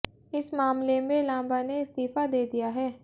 इस मामले में लांबा ने इस्तीफ़ा दे दिया है